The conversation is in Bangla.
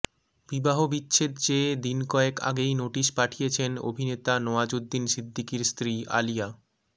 বিবাহবিচ্ছেদ চেয়ে দিন কয়েক আগেই নোটিস পাঠিয়েছেন অভিনেতা নওয়াজুদ্দিন সিদ্দিকীর স্ত্রী আলিয়া